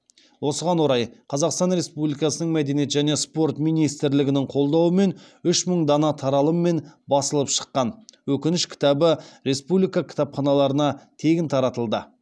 осыған орай қазақстан республикасының мәдениет және спорт министрлігінің қолдауымен үш мың дана таралыммен басылып шыққан өкініш кітабы республика кітапханаларына тегін таратылды